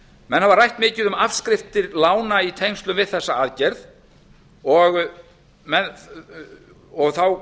hafa rætt mikið um afskriftir lána í tengslum við þessa aðgerð og þá